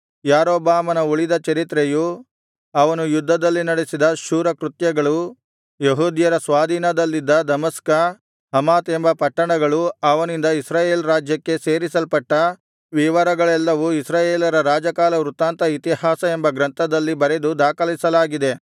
ಯಾರೊಬ್ಬಾಮನ ಉಳಿದ ಚರಿತ್ರೆಯೂ ಅವನು ಯುದ್ಧದಲ್ಲಿ ನಡಿಸಿದ ಶೂರಕೃತ್ಯಗಳೂ ಯೆಹೂದ್ಯರ ಸ್ವಾಧೀನದಲ್ಲಿದ್ದ ದಮಸ್ಕ ಹಮಾತ್ ಎಂಬ ಪಟ್ಟಣಗಳು ಅವನಿಂದ ಇಸ್ರಾಯೇಲ್ ರಾಜ್ಯಕ್ಕೆ ಸೇರಿಸಲ್ಪಟ್ಟ ವಿವರಗಳೆಲ್ಲವೂ ಇಸ್ರಾಯೇಲರ ರಾಜಕಾಲವೃತ್ತಾಂತ ಇತಿಹಾಸ ಎಂಬ ಗ್ರಂಥದಲ್ಲಿ ಬರೆದು ದಾಖಲಿಸಲಾಗಿದೆ